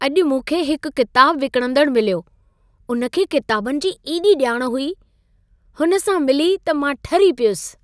अॼु मूंखे हिकु किताब विकणंदड़ु मिलियो। उन खे किताबनि जी एॾी ॼाण हुई। हुन सां मिली त मां ठरी पियुसि।